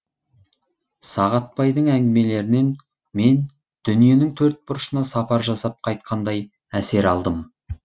сағатбайдың әңгімелерінен мен дүниенің төрт бұрышына сапар жасап қайтқандай әсер алдым